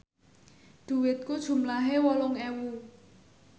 dhuwitku jumlahe wolung ewu